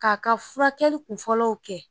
K'a ka furakɛli kun fɔlɔw kɛ